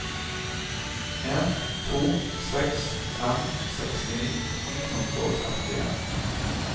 en to seks fem seksti ni hundre og trettien